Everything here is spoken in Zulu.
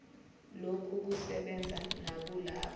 lokhu kusebenza nakulabo